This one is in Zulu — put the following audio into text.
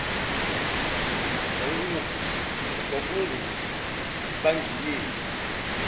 kwakungupangiyeli